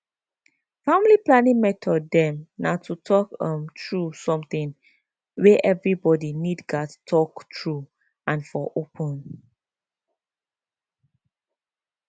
family planning method dem na to talk um true something wey evribodi nid gats talk true and for open